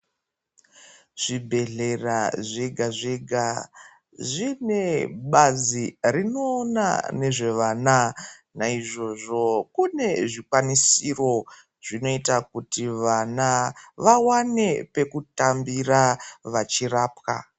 Zvibhedhlera zvega zvega zvine Bazi rinoona nezvevana naizvozvo kune zvikwanisiro Zvinoita kuti vana vawane pekutambira vachirapwa.